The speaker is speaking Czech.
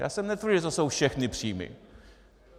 Já jsem netvrdil, že to jsou všechny příjmy.